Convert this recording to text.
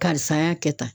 Karisa y'a kɛ tan